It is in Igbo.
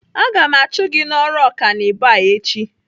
Aga m achụ gị n'ọrụ ọkanibo a echi!